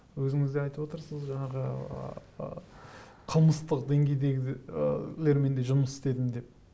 өзіңіз де айтып отырсыз жаңағы ыыы қылмыстық де жұмыс істедім деп